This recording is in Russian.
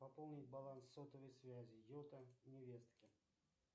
пополнить баланс сотовой связи йота невестке